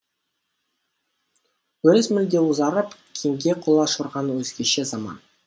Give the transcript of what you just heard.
өріс мүлде ұзарып кеңге құлаш ұрған өзгеше заман